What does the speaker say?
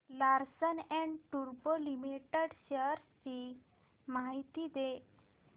Larsen and टुर्बो limited shares ची माहिती दे